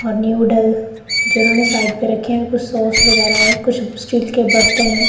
और न्यू डाइल जिन्होंने साइड पे रखें कुछ सॉस वगैरा है कुछ स्टील के बर्तन हैं।